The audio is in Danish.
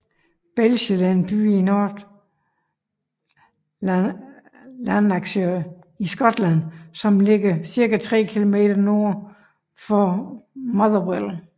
Bellshill er en by i North Lanarkshire i Skotland som ligger cirka tre km nord for Motherwell